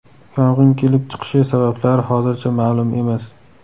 Yong‘in kelib chiqishi sabablari hozircha ma’lum emas.